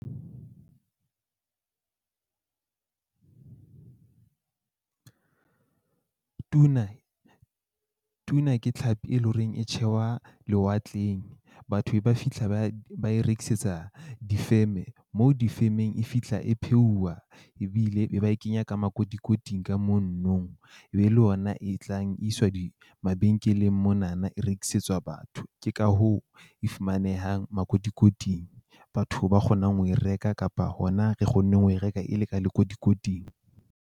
Tuna Tuna ke tlhapi e leng horeng e tshehwa lewatleng. Batho be ba fihla ba ba e rekisetsa di-firm-e moo difemeng e fihla e pheuwa. Ebile be ba e kenya ka makotikoting ka e be le ona e tlang e iswa di mabenkeleng mona na e rekisetswa batho. Ke ka hoo e fumanehang makotikoting. Batho ba kgonang ho e reka kapa hona re kgonneng ho e reka e le ka lekotikoting.